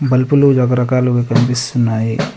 బల్బులు రకరకాలుగా కనిపిస్తున్నాయి.